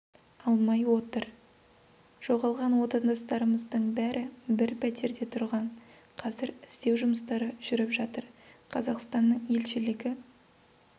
алмай отыр жоғалған отандастарымыздың бәрі бір пәтерде тұрған қазір іздеу жұмыстары жүріп жатыр қазақстанның елшілігі